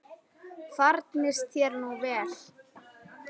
Farnist þér nú vel, Eygló.